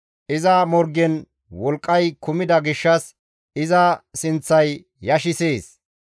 Iza morgen wolqqay kumida gishshas iza sinththay yashissees.